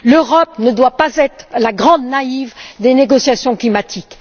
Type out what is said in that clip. L'Europe ne doit pas être la grande naïve des négociations climatiques.